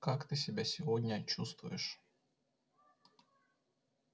как ты себя сегодня чувствуешь